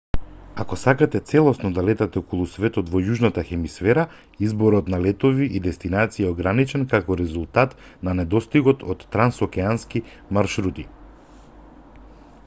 ако сакате целосно да летате околу светот во јужната хемисфера изборот на летови и дестинации е ограничен како резултат на недостигот од трансокеански маршрути